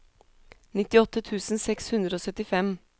nittiåtte tusen seks hundre og syttifem